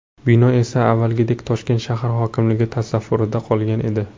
Bino esa avvalgidek Toshkent shahar hokimligi tasarrufida qolgan edi .